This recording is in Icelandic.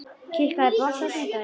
Kikka, er bolti á sunnudaginn?